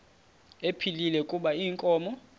ephilile kuba inkomo